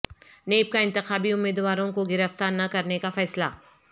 NAB کا انتخابی امیدواروں کو گرفتار نہ کرنے کا فیصلہ